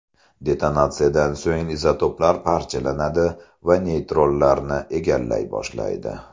Detonatsiyadan so‘ng izotoplar parchalanadi va neytronlarni egallay boshlaydi.